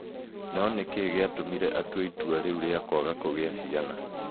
No nĩ kĩĩ gĩatũmire atue itua rĩu rĩa kwaga kũgĩa ciana?